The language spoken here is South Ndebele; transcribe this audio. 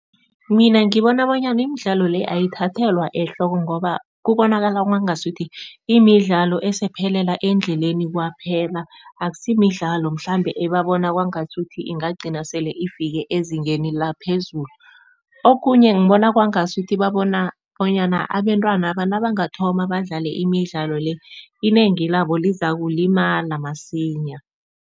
Mina ngibona bonyana imidlalo le ayithathelwa ehloko ngoba kubonakala kwangasuthi imidlalo esephelela endleleni kwaphela. Akusiyo imidlalo mhlambe ebabona kwangasuthi ingagcina sele ifike ezingeni laphezulu, okhunye ngibona kwangasuthi babona bonyana abentwana nabangathoma badlale imidlalo le inengi labo lizakulimalama masinya.